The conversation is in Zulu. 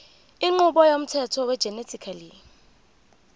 inqubo yomthetho wegenetically